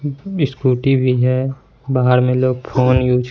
scooty भी है बाहर में लोग फोन युज --